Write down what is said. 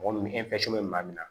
Mɔgɔ min bɛ maa min na